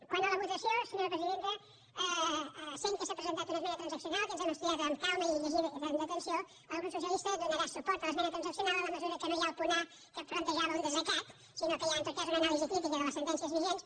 quant a la votació senyora presidenta sent que s’ha presentant una esmena transaccional que ens hem estudiat amb calma i llegit amb atenció el grup socialista donarà suport a l’esmena transaccional en la mesura que no hi ha el punt a que plantejava un desacatament sinó que hi ha en tot cas una anàlisi crítica de les sentències vigents